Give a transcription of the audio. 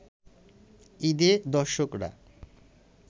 ঈদে দর্শকরা